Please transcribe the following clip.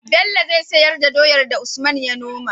Bello zai siyar da doyar da usman ya noma